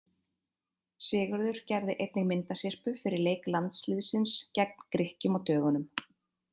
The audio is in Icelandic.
Sigurður gerði einnig myndasyrpu fyrir leik landsliðsins gegn Grikkjum á dögunum.